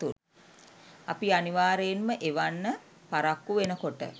අපි අනිවාර්යයෙන්ම එවන්න පරක්කු වෙනකොට